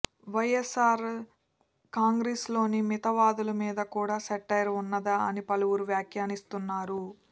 వైఎస్సార్ కాంగ్రెస్లోని మితవాదుల మీద కూడా సెటైర్ ఉన్నదా అని పలువురు వ్యాఖ్యానిస్తున్నారు